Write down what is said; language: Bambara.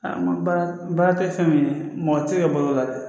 Aa baara tɛ fɛn min ye mɔgɔ tɛ kɛ balo la dɛ